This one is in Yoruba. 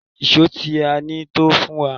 Èṣó tí a ní tó fún wa.